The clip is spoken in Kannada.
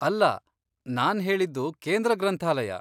ಅಲ್ಲ, ನಾನ್ಹೇಳಿದ್ದು ಕೇಂದ್ರ ಗ್ರಂಥಾಲಯ.